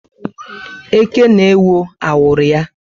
Eke na ewó awuru ya